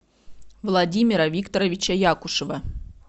владимира викторовича якушева